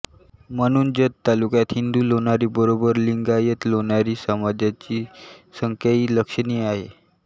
म्हणून जत तालुक्यात हिंदू लोणारी बरोबर लिंगायतलोणारी समाजाची संख्याही लक्षणीय आहे